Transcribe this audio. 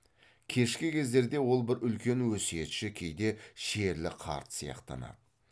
кешкі кездерде ол бір үлкен өсиетші кейде шерлі қарт сияқтанады